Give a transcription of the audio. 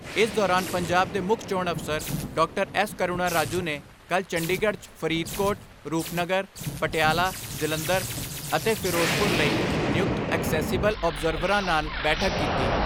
ਇਸ ਦੌਰਾਨ ਪੰਜਾਬ ਦੇ ਮੁੱਖ ਚੋਣ ਅਫਸਰ ਡਾਕਟਰ ਐਸ ਕਰੁਣਾ ਰਾਜੂ ਨੇ ਕੱਲ੍ਹ ਚੰਡੀਗੜ੍ਹ 'ਚ ਫਰੀਦਕੋਟ, ਰੂਪਨਗਰ, ਪਟਿਆਲਾ, ਜਲੰਧਰ ਅਤੇ ਫਿਰੋਜ਼ਪੁਰ ਲਈ ਨਿਯੁਕਤ ਅਕਸੈਸੀਬਲ ਆਬਜ਼ਰਵਰਾਂ ਨਾਲ ਬੈਠਕ ਕੀਤੀ।